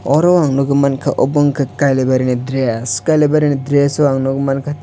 oro ang nogoi mangka obo wngka kailabari ni dress kailabari ni dress o ang nogoi mangka.